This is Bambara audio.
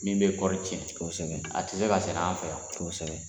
Min bɛ kɔɔri cɛn kosɛbɛ a tɛ se ka sɛnɛ an fɛ yan kosɛbɛ.